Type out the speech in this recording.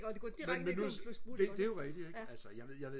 og de går direkte ned og køber en flaske sprut ikke også ja